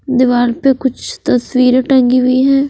दीवार पे कुछ तस्वीरे टंगी हुई है।